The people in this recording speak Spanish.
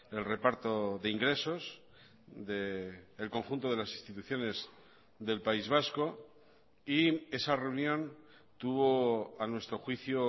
el reparto de ingresos del conjunto de las instituciones del país vasco y esa reunión tuvo a nuestro juicio